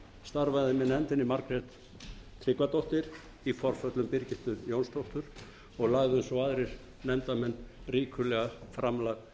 starfaði margrét tryggvadóttir með nefndinni í forföllum birgittu jónsdóttur og lögðu svo aðrir nefndarmenn ríkulega framlag til